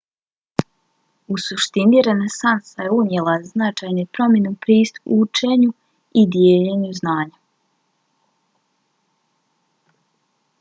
u suštini renesansa je unijela značajne promjene u pristupu učenju i dijeljenju znanja